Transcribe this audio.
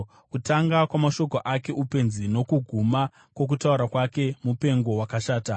Kutanga kwamashoko ake upenzi; nokuguma kwokutaura kwake mupengo wakashata.